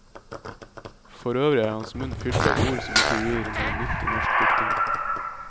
Forøvrig er hans munn fylt av ord som ikke gir noe nytt i norsk diktning.